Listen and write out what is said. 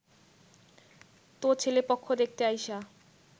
তো ছেলেপক্ষ দেখতে আইসা